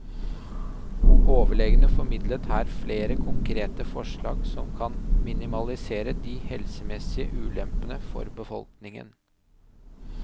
Overlegene formidler her flere konkrete forslag som kan minimalisere de helsemessige ulempene for befolkningen.